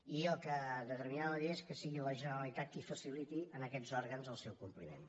i el que determinarà la llei és que sigui la generalitat qui faciliti en aquests òrgans el seu compliment